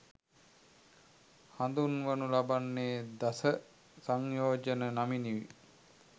හඳුන්වනු ලබන්නේ දස සංයෝජන නමිනුයි.